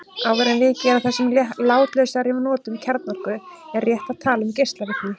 Áður en vikið er að þessum látlausari notum kjarnorku er rétt að tala um geislavirkni.